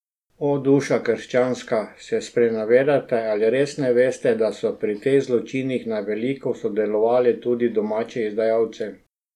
O, duša krščanska, se sprenevedate ali res ne veste, da so pri teh zločinih na veliko sodelovali tudi domači izdajalci?